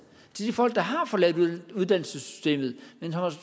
til de folk der har forladt uddannelsessystemet men